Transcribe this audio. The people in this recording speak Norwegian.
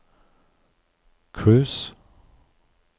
cruise